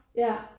Ja